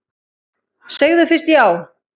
Segðu fyrst já!